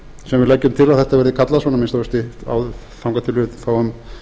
leggjum til að þetta verði kallað að minnsta kosti þangað til við fáum